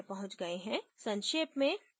संक्षेप में